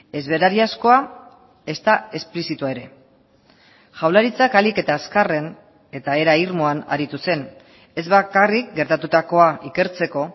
ez berariazkoa ezta esplizitua ere jaurlaritzak ahalik eta azkarren eta era irmoan aritu zen ez bakarrik gertatutakoa ikertzeko